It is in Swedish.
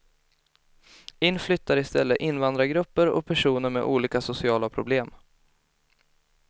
In flyttar i stället invandrargrupper och personer med olika sociala problem.